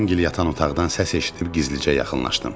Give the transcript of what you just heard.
Əmimgil yatan otaqdan səs eşidib gizlicə yaxınlaşdım.